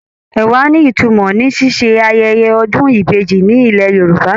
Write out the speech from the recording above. Ẹ̀wà ní ìtumọ̀ ní ṣíṣe ayẹyẹ ọdún ìbejì ní ilẹ̀ Yorùbá.